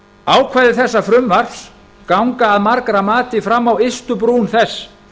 ákvæði þessa frumvarps ganga að margra mati fram á ystu brún þess